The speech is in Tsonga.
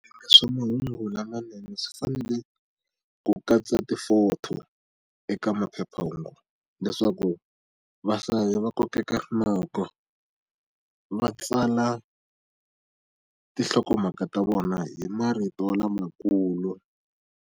Swa mahungulamanene swi fanele ku katsa ti-photo eka maphephahungu leswaku vahlayi va kokeka rinoko, va tsala tinhlokomhaka ta vona hi marito lamakulu.